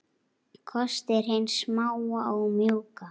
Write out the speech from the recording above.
Kostir hins smáa og mjúka